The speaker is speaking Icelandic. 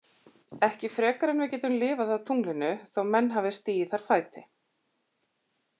Ekki frekar en við getum lifað á tunglinu þó menn hafi stigið þar fæti.